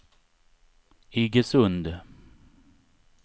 Iggesund